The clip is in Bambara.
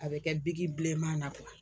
A bɛ kɛ bilenma na .